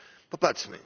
Popatrzmy.